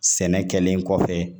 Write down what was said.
Sɛnɛ kɛlen kɔfɛ